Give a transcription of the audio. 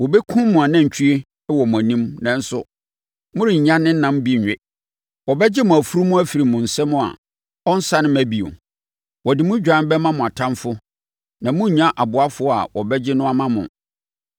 Wɔbɛkum mo nantwie wɔ mo anim nanso morennya ne nam bi nwe. Wɔbɛgye mo afunumu afiri mo nsam a, ɔrensane mma bio. Wɔde mo dwan bɛma mo atamfoɔ na morennya ɔboafoɔ a ɔbɛgye no ama mo.